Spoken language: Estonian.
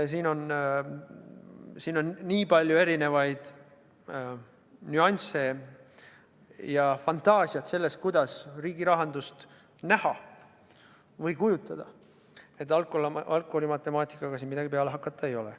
Siin on nii palju erisuguseid nüansse ja vaja läheb fantaasiat, kuidas riigi rahandust näha või kujutada, et algkooli matemaatikaga siin midagi peale hakata ei ole.